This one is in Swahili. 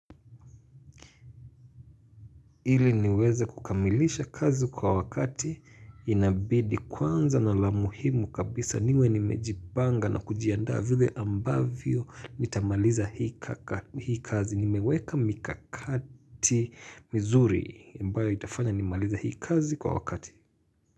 Iliniweze kukamilisha kazi kwa wakati inabidi kwanza nalamuhimu kabisa niwe nimejipanga na kujiaandaa vile ambavyo nitamaliza hii hii kazi nimeweka mikakati vizuri ambayo itafanya nimalize hii kazi kwa wakati.